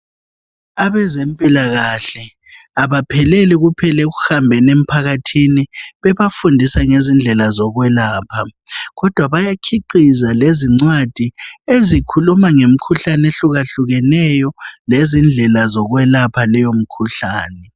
Abezempilakahle abapheleli kuphela ukuhambela emphakathini bebafundisa ngendlela zokwelapha kodwa bayakhiqiza lezincwadi ezikhuluma ngemkhuhlane ehlukeneyo ekhulume ngezindlela zokwelaphaleyo mikhuhlane